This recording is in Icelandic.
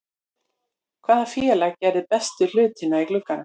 Hvaða félag gerði bestu hlutina í glugganum?